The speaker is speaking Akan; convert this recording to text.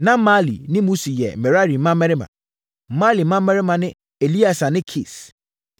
Na Mahli ne Musi yɛ Merari mmammarima. Mahli mmammarima ne: Eleasa ne Kis.